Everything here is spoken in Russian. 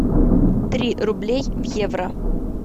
три рублей в евро